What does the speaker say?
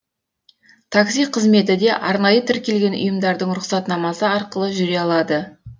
такси қызметіде де арнайы тіркелген ұйымдардың рұқсатнамасы арқылы жүре алады